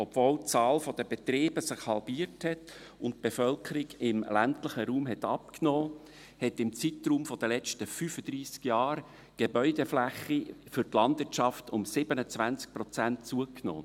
Obwohl die Zahl der Betriebe sich halbiert und die Bevölkerung im ländlichen Raum abgenommen hat, hat die Gebäudefläche für die Landwirtschaft im Zeitraum der letzten 35 Jahre um 27 Prozent zugenommen.